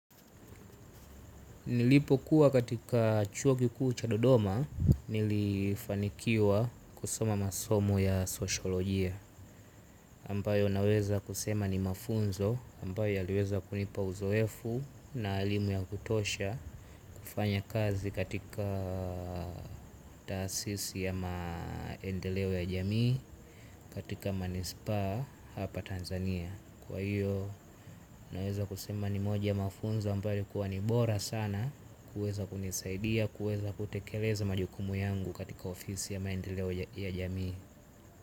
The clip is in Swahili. Nilipokuwa katika chuo kikuu cha dodoma, nilifanikiwa kusoma masomo ya sosiolojia ambayo naweza kusema ni mafunzo, ambayo yaliweza kunipa uzoefu na elimu ya kutosha. Fanya kazi katika tasisi ya maendeleo ya jamii, katika manispa hapa Tanzania. Kwa hiyo, naweza kusema ni moja mafunzo ambayo yalikuwa ni bora sana. Kuweza kunisaidia, kuweza kutekeleza majukumu yangu katika ofisi ya maendeleo ya jamii.